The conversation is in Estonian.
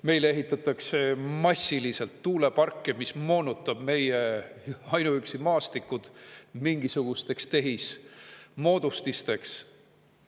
Meil ehitatakse massiliselt tuuleparke, mis moonutavad ainuüksi meie maastikud mingisugusteks tehismoodustisteks.